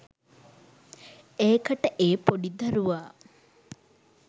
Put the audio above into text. ඒකට ඒ පොඩි දරුවා